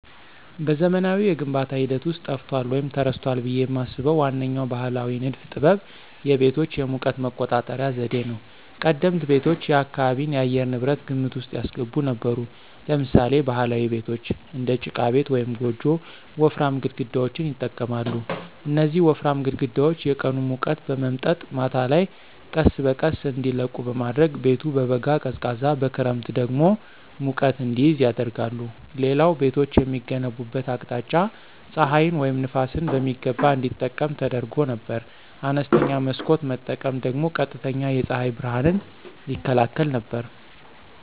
በዘመናዊው የግንባታ ሂደት ውስጥ ጠፍቷል ወይም ተረስቷል ብዬ የማስበው ዋነኛው ባሕላዊ ንድፍ ጥበብ የቤቶች የሙቀት መቆጣጠሪያ ዘዴ ነው። ቀደምት ቤቶች የአካባቢን የአየር ንብረት ግምት ውስጥ ያስገቡ ነበሩ። ለምሳሌ ባህላዊ ቤቶች (እንደ ጭቃ ቤት ወይም ጎጆ) ወፍራም ግድግዳዎችን ይጠቀማሉ። እነዚህ ወፍራም ግድግዳዎች የቀኑን ሙቀት በመምጠጥ ማታ ላይ ቀስ በቀስ እንዲለቁ በማድረግ ቤቱ በበጋ ቀዝቃዛ በክረምት ደግሞ ሙቀት እንዲይዝ ያደርጋሉ። ሌላው ቤቶች የሚገነቡበት አቅጣጫ ፀሐይን ወይም ነፋስን በሚገባ እንዲጠቀም ተደርጎ ነበር። አነስተኛ መስኮት መጠቀም ደግሞ ቀጥተኛ የፀሐይ ብርሃንን ይከላከል ነበር።